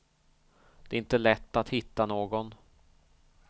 Det är inte lätt att hitta någon.